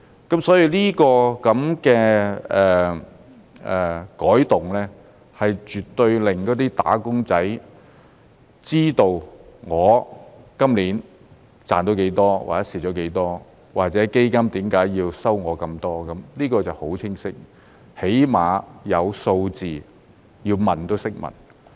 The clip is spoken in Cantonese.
因此，這個改動絕對令"打工仔"知道他今年賺到多少或蝕了多少，或者基金為何要收取他那麼多，這便很清晰，起碼有數字，要問也懂得如何問。